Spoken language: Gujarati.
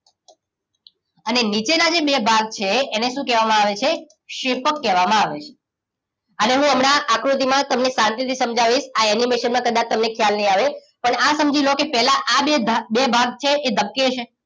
અને નીચે ના જે બે ભાગ છે એને શું કેવા માં આવે છે ક્ષેપ્કકેવા માં આવે છે અને હું હમણાં આકૃતિ માં તમને શાંતિ થી સમજાવીશ આ એનિમેશન માં ક્દાચ તમને ખ્યાલ ની આવે પણ આ સમજી લોકે પેલા આ બે ભાગ છે એ ધબકે છે